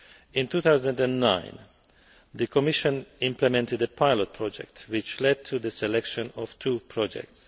In 2009, the Commission implemented a pilot project which led to the selection of two projects.